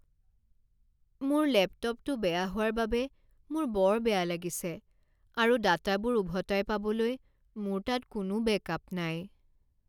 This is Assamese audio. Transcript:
মোৰ লেপটপটো বেয়া হোৱাৰ বাবে মোৰ বৰ বেয়া লাগিছে আৰু ডাটাবোৰ উভতাই পাবলৈ মোৰ তাত কোনো বেকআপ নাই।